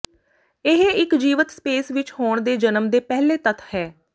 ਇਹ ਇੱਕ ਜੀਵਤ ਸਪੇਸ ਵਿੱਚ ਹੋਣ ਦੇ ਜਨਮ ਦੇ ਪਹਿਲੇ ਤੱਥ ਹੈ